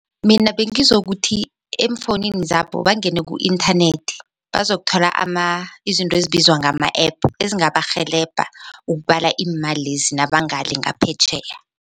Mina bengizokuthi eemfowunini zabo bangene ku-inthanethi bazokuthola izinto ezibizwa ngama-APP ezingabarhelebha ukubala iimalezi nabangale ngaphetjheya.